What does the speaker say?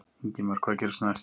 Ingimar: Og hvað gerist næst?